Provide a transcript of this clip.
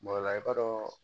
ola i b'a dɔn